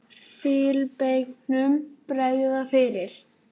Filippseyingnum bregða fyrir.